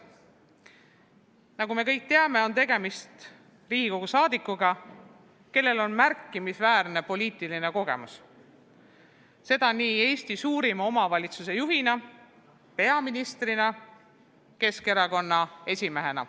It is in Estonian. Nagu me kõik teame, on tegemist Riigikogu liikmega, kellel on märkimisväärne poliitiline kogemus – seda nii Eesti suurima omavalitsuse juhina, peaministrina kui ka Keskerakonna esimehena.